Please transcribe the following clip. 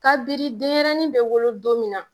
Kabini denyrɛnin bɛ wolo don min na